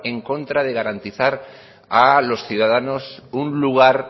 en contra de garantizar a los ciudadanos un lugar